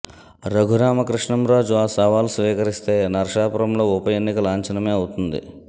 రఘురామకృష్ణంరాజు ఆ సవాల్ స్వీకరిస్తే నర్సాపురంలో ఉప ఎన్నిక లాంఛనమే అవుతుంది